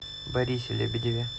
борисе лебедеве